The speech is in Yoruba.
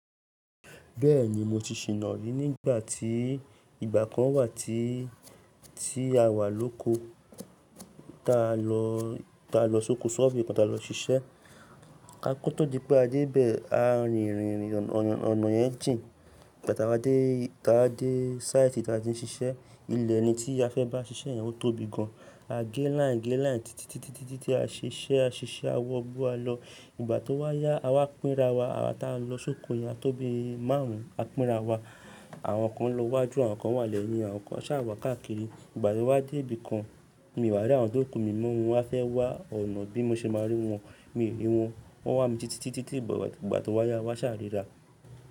Bẹ́ẹ̀ni mo ti ṣìná ní nígbà tí ìgbà kan wà tí tí awà lóko, ta lọ ta lọ sóko ṣọ́ọ̀fù kan ta lọ ṣiṣẹ́. A kó tó dípé a dé bẹ̀ a rìn ìrìn ònà yẹn jìn, ìgbà táa wá dé táa wá dé sáìtì táa ti ń ṣiṣẹ́ ilẹ̀ eni tí a fẹ́ bá ṣiṣẹ́ yẹn ó tóbi gan an. A gé láiń gé láiń títítítí a ṣiṣẹ́ a ṣiṣẹ́ a wọ gbó a lọ. Ìgbà tó wáyá a wá pínra wa, àwa táa lọ sóko yẹn á tóbi márùn-ún. A pínra wa àwọn kan lọ wájú àwọn kan wà lẹ́yìn àwọn kan ṣà wà káàkiri. Ìgbà tó wá dé ibìkan mi wà láàrín àwọn tó kú mi mọ́ wọn wá fẹ́ wá ọ̀nà bí mo ṣe máa rí wọn, mi ò rí wọn. Wọ́n wá mi títítítí ìgbà tó wáyá wa ṣà ríra.